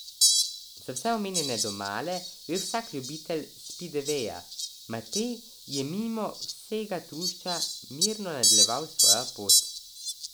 Za vse omenjene domala ve vsak ljubitelj spidveja, Matej je mimo vsega trušča mirno nadaljeval svojo pot.